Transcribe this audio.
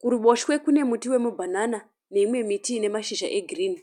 Kuruboshwe kune muti yemibhanana neimwe miti ine mashizha egirinhi.